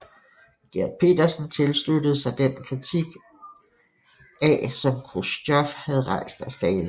Gert Petersen tilsluttede sig den kritik af som Khrustjov havde rejst af Stalin